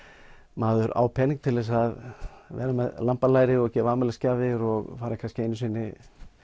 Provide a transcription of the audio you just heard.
maður á pening til þess að vera með lambalæri og gefa afmælisgjafir og fara kannski einu sinni